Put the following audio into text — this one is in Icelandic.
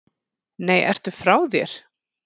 Nei, ertu frá þér?